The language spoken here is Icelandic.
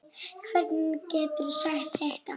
Hvernig geturðu sagt þetta?